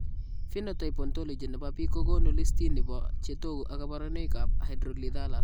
Phenotype ontology nebo biik kokoonu listini bo chetogu ak kaborunoik ab Hydrolethalus